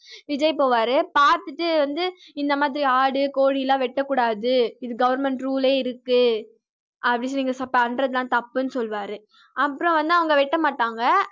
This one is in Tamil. விஜய் போவாரு பார்த்துட்டு வந்து இந்த மாதிரி ஆடு கோழிலாம் வெட்டக்கூடாது இது government rule யே இருக்கு அப்படின்னு சொல்லி நீங்க பண்றதெல்லாம் தப்புன்னு சொல்லுவாரு. அப்புறம் வந்து அவங்க வெட்ட மாட்டாங்க